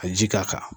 Ka ji k'a kan